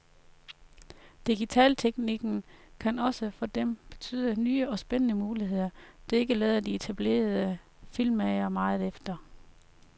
Digitalteknikken kan også for dem betyde nye og spændende muligheder, der ikke lader de etablerede filmmagere meget efter.